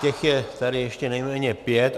Těch je tady ještě nejméně pět.